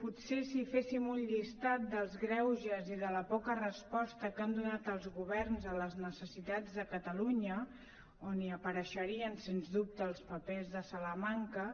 potser si féssim un llistat dels greuges i de la poca resposta que han donat els governs a les necessitats de catalunya on apareixerien sens dubte els papers de salamanca